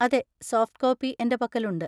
അതെ, soft copy എന്‍റെ പക്കലുണ്ട്.